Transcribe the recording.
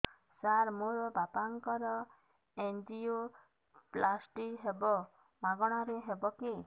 ସାର ମୋର ବାପାଙ୍କର ଏନଜିଓପ୍ଳାସଟି ହେବ ମାଗଣା ରେ ହେବ କି